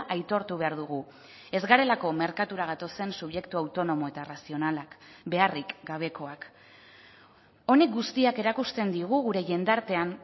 aitortu behar dugu ez garelako merkatura gatozen subjektu autonomo eta razionalak beharrik gabekoak honek guztiak erakusten digu gure jendartean